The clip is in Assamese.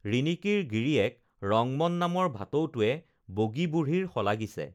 ৰিণিকীৰ গিৰিয়েক ৰংমন নামৰ ভাটৌটোৱে বগী বুঢ়ীৰ শলাগিছে